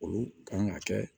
Olu kan ka kɛ